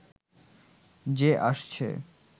যে আসছে